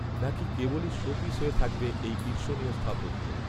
না কি কেবলই শোপিস হয়ে থাকবে এই ঈর্ষণীয় স্থাপত্য